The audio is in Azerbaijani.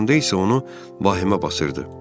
Oturanda isə onu vahimə basırdı.